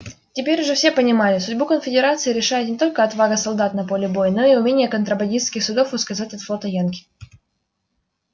теперь уже все понимали судьбу конфедерации решает не только отвага солдат на поле боя но и умение контрабандистских судов ускользать от флота янки